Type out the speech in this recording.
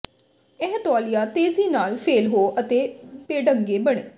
ਇਹ ਤੌਲੀਆ ਤੇਜ਼ੀ ਨਾਲ ਫੇਲ ਹੋ ਅਤੇ ਬੇਢੰਗੇ ਬਣ